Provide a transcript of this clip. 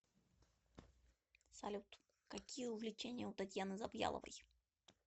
салют какие увлечения у татьяны завьяловой